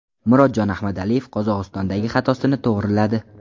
Murodjon Ahmadaliyev Qozog‘istondagi xatosini to‘g‘riladi.